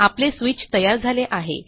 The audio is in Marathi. आपले स्विच तयार झाले आहे